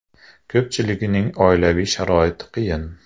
Ko‘pchiligining oilaviy sharoiti qiyin.